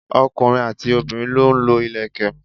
ọkùnrin àti obìnrin lọ ń lo ìlẹ̀kẹ̀.